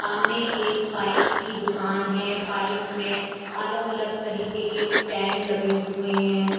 सामने एक पाइप की दुकान है पाइप में अलग अलग तरीके के स्टैंड लगे हुए हैं।